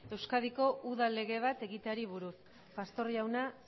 euskadiko udal lege bat egiteari buruz pastor jauna